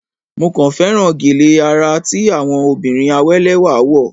Mo kàn féràn gèlè àrà tí àwọn obìnrin àwé lẹ́wà wọ̀.